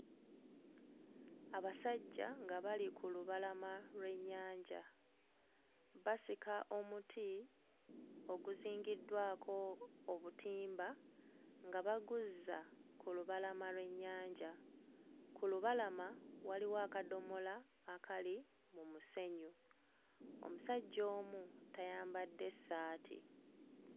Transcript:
Abasajja nga bali ku lubalama lw'ennyanja basika omuti oguzingiddwako obutimba nga baguzza ku lubalama lw'ennyanja. Ku lubalama waliwo akadomola akali mu musenyu. Omusajja omu tayambadde ssaati.